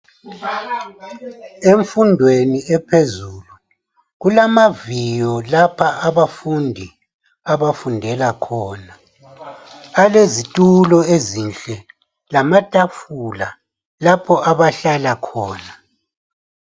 Emfundweni ephezulu kulamaviyo lapha abafundi abafundela khona balezitulo ezinhle laamatafula lapha abahlala khona